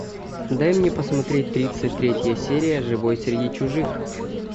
дай мне посмотреть тридцать третья серия живой среди чужих